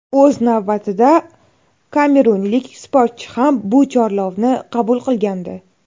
O‘z navbatida kamerunlik sportchi ham bu chorlovni qabul qilgandi.